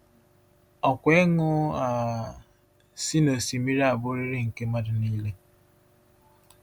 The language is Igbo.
Ọkwa ịṅụ um si n’osimiri a bụrịrị nke mmadụ niile.